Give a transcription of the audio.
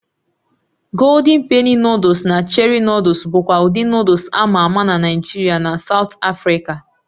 Golden Penny Nụ́dúls na Cherie Nụ́dúls bụkwa ụdị Nụ́dúls a ma ama na Naịjirịa na Saụt Afrịka a